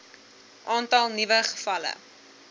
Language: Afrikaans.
aantal nuwe gevalle